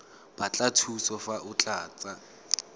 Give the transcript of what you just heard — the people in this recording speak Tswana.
batla thuso fa o tlatsa